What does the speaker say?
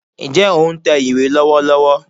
N jẹ́ o n tẹ ìwé ìwé lọ́wọ́lọ́wọ́